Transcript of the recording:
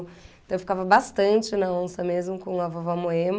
Então eu ficava bastante na onça mesmo com a vovó Moema.